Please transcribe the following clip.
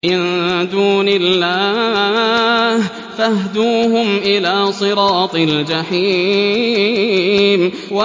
مِن دُونِ اللَّهِ فَاهْدُوهُمْ إِلَىٰ صِرَاطِ الْجَحِيمِ